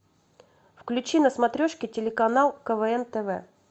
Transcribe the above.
включи на смотрешке телеканал квн тв